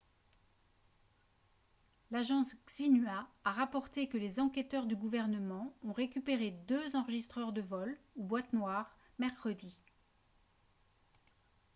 l'agence xinhua a rapporté que les enquêteurs du gouvernement ont récupéré deux enregistreurs de vol ou « boîtes noires » mercredi